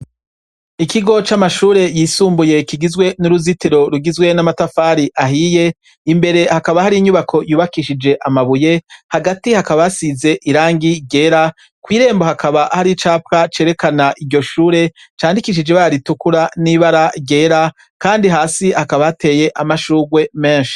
Ikigo c'amashure yisumbuye kigizwe n'uruzitiro rugizwe n'amatafari ahiye, imbere hakaba hari inyubako yubakishije amabuye, hagati hakaba hasize irangi ryera, kw'irembo hakaba hari icapwa cerekana iryo shure, candikishije ibara ritukura n'ibara ryera, kandi hasi hakaba hateye amashurwe menshi.